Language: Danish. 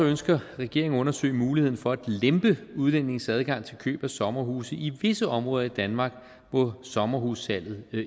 ønsker regeringen at undersøge muligheden for at lempe udlændinges adgang til køb af sommerhuse i visse områder i danmark hvor sommerhussalget